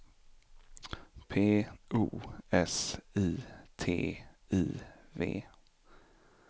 P O S I T I V